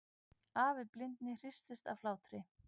Afi blindi hristist af hlátri.